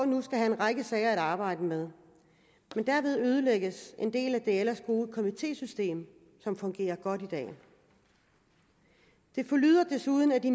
nu skal have en række sager at arbejde med men derved ødelægges en del af det ellers gode komitésystem som fungerer godt i dag det forlyder desuden at de